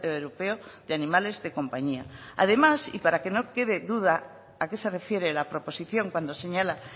europeo de animales de compañía además y para que no quede duda a qué se refiere la proposición cuando señala